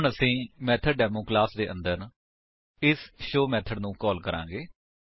ਹੁਣ ਅਸੀ method demo class ਦੇ ਅੰਦਰ ਇਸ ਸ਼ੋ ਮੇਥਡ ਨੂੰ ਕਾਲ ਕਰਾਂਗੇ